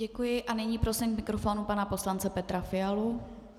Děkuji a nyní prosím k mikrofonu pana poslance Petra Fialu.